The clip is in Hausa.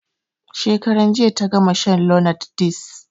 Shekaran jiya ta gama shan lonart ds